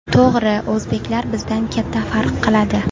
To‘g‘ri, o‘zbeklar bizdan katta farq qiladi.